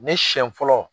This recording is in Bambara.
Ne siɲɛ fɔlɔ